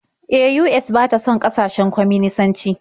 E, US ba ta son ƙasashen kwaminisanci.